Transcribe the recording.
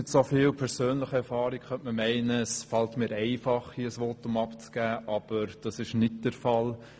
Mit so viel persönlicher Erfahrung könnte man meinen, es falle mir einfach, hier ein Votum abzugeben, aber dies ist nicht der Fall.